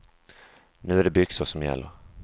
Nu är det byxor som gäller.